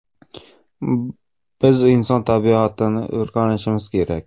Biz inson tabiatini o‘rganishimiz kerak.